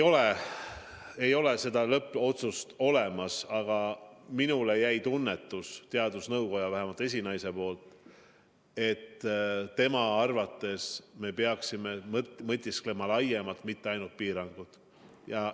Ei ole seda lõppotsust olemas, aga minule jäi vähemalt teadusnõukoja esinaise jutust selline tunne, et tema arvates me peaksime mõtisklema laiemalt, mitte ainult piirangute üle.